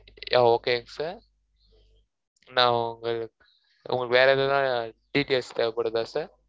yeah okay sir நான் உங்களு~ உங்களுக்கு வேற எதுனா details தேவைப்படுதா sir